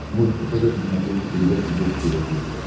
можешь показать на смотрешке передачу бокс тв плюс